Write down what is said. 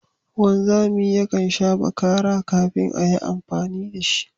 Wanzami yakan sha bakara kafin a yi amfani da shi